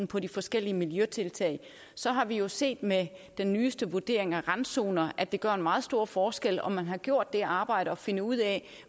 på de forskellige miljøtiltag så har vi jo set med den nyeste vurdering af randzoner at det gør en meget stor forskel om man har gjort det arbejde at finde ud af